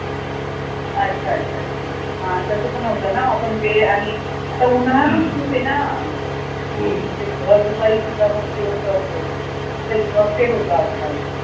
अच्छा अच्छा अच्छा हा तसं पण होत ना आपण वेळ आणि आता उन्हाळा पण खूप आहे ना म्हणजे भर दुपारीसुद्धा मग होत आज काल